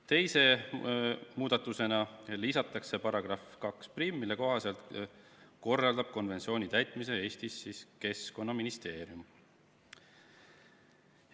Teise muudatusena lisatakse § 21, mille kohaselt korraldab konventsiooni täitmist Eestis Keskkonnaministeerium.